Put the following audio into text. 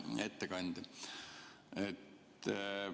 Hea ettekandja!